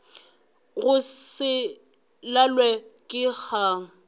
go se lalwe ke kgang